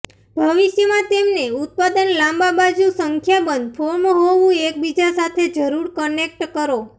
ભવિષ્યમાં તેમને ઉત્પાદન લાંબા બાજુ સંખ્યાબંધ ફોર્મ હોવું એકબીજા જરૂર કનેક્ટ કરો